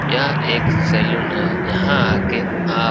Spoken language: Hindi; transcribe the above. यह एक सैलून है यहाँ आके आप --